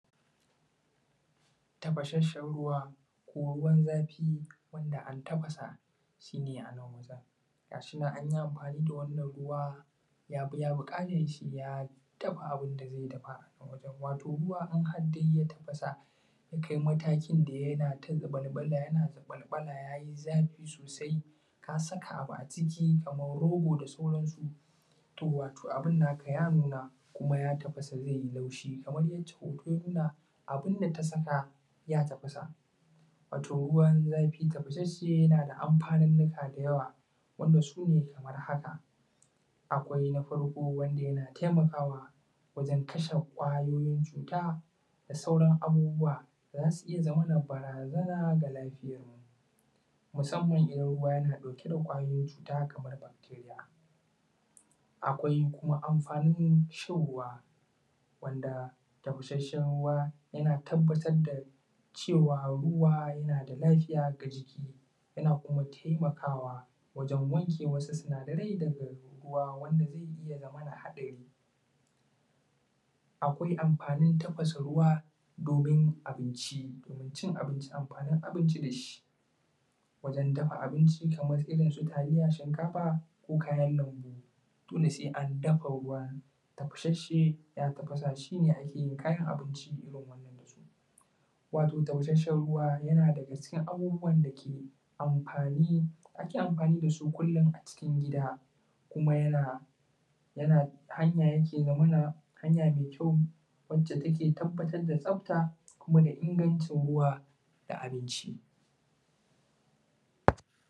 Tafashasshan ruwa ko ruwan zafi wanda antafasa shine anan wajan gashinan anyi amfani da wannan ruwa ya biya ya dafa abinda zai dafa a wajan wato ruwa in haddai ya tafasa ya kai matakin da yana ta zabalbala yana zabalbala yayi zafi sosai ka saka abu a ciki kamar rogo da sauransu to wato abun naka ya nuna kuma ya tafasa zaiyi laushi kamar yacce hoto ya nuna abunda ta saka ya tafasa wato ruwan zafi ta fashasshe yana da amfaninnika da yawa wanda sune kamar haka, akwai na farko wanda yana taimakawa wajan kashe kwayoyin cuta da sauran abubuwa da zasu iya zamana bara zana ga lafiyarmu musamman idan ruwa yana dauke da kwayoyin cuta kamar bacteria akwai kuma amfanin shan ruwa wanda tafashasshan ruwa yana tabbatar da cewa ruwa yana da lafiya ga jiki yana kuma taimakawa wajan wanke wasu sinadarai daga ruwa wanda zai iya zamana hadari akwai amfanin tafasa ruwa domin abinci domin cin abinci amfanin abinci dashi wajan dafa abinci kamar irinsu taliya shinkafa ko kayan lanbu dole sai andafa ruwa tafashasshe ya tafasa shine akeyin kayan abinci irin wannan dasu wato taushasshan ruwa yana daga cikin abubuwan dake amfani ake amfani dasu kullin a cikin gida kuma yana yana hanya hanya me kyau wacce take tabbatar da tsafta kuma da ingancin ruwa da abinci